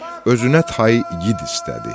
Özünə tayı igid istədi.